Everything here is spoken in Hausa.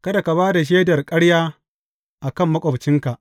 Kada ka ba da shaidar ƙarya a kan maƙwabcinka.